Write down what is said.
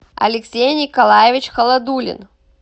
алексей николаевич холодулин